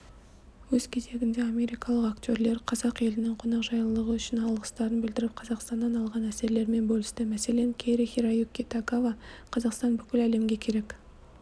өз кезегінде америкалық актерлер қазақ елінің қонақжайлылығы үшін алғыстарын білдіріп қазақстаннан алған әсерлерімен бөлісті мәселен кэри-хироюки тагава қазақстан бүкіл әлемге керек